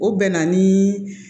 O bɛ na ni